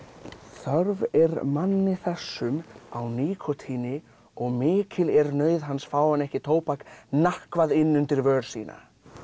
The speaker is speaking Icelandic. þörf er manni þessum á nikótíni og mikil er nauð hans fái hann ekki tóbak inn undir vör sína